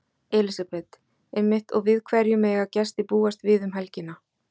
Elísabet: Einmitt og við hverju mega gestir búast við um helgina?